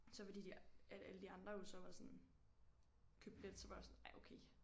Så fordi de at alle de andre jo så var sådan købte billet så var jeg også sådan ej okay